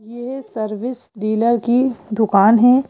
यह service dealer की दुकान है।